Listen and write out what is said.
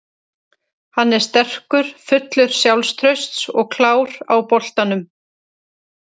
Hann er sterkur, fullur sjálfstrausts og klár á boltanum.